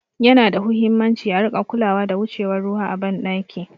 Yana da huhimmaci a rika kulawa da wucewar ruwa a ban ɗaki